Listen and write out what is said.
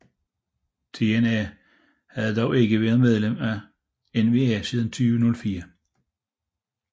TNA havde dog ikke været medlem af NWA siden 2004